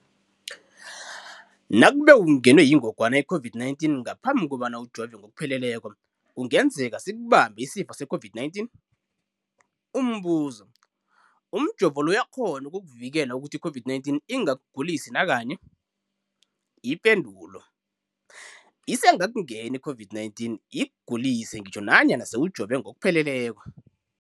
Nakube ungenwe yingogwana i-COVID-19 ngaphambi kobana ujove ngokupheleleko, kungenzeka sikubambe isifo se-COVID-19. Umbuzo, umjovo lo uyakghona ukukuvikela ukuthi i-COVID-19 ingakugulisi nakanye? Isengakungena i-COVID-19 ikugulise ngitjho nanyana sewujove ngokupheleleko.